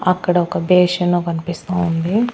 అక్కడ ఒక బేషన్ కనిపిస్తా ఉంది.